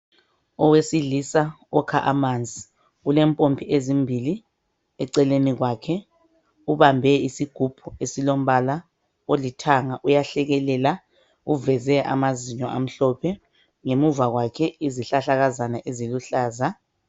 Owesilisa okha amanzi, kulempompi esimbili eceleni kwake. Ubambe isigubhu esilombala olithanga, uyahlekelela, uveze amazinyo amhlophe. Ngemuva kwake kule zihlahlakazana eziluhlaza.